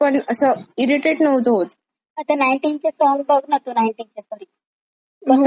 आता नाईनटीज चे सॉंग बघ ना ग नाईनटीजचे कधी एवढे मस्त ना, म्हणजे तू कधी एव्हरग्रीन आहेत.